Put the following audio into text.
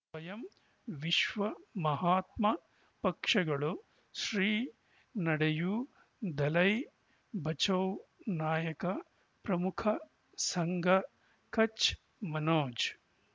ಸ್ವಯಂ ವಿಶ್ವ ಮಹಾತ್ಮ ಪಕ್ಷಗಳು ಶ್ರೀ ನಡೆಯೂ ದಲೈ ಬಚೌ ನಾಯಕ ಪ್ರಮುಖ ಸಂಘ ಕಚ್ ಮನೋಜ್